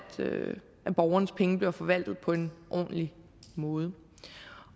borgernes penge bliver forvaltet på en ordentlig måde